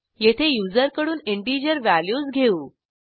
येथे युजरकडून integer values घेऊ